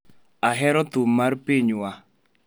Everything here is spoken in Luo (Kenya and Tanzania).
Ahero thum mar pinywa.